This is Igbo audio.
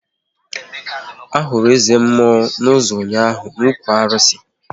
Ahụrụ eze mmụọ na ozu ụnyaahụ n'okwu arụsị ya